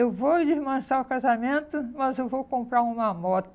Eu vou desmanchar o casamento, mas eu vou comprar uma moto.